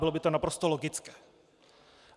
Bylo by to naprosto logické.